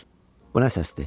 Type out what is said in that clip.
Bu nə səsdir?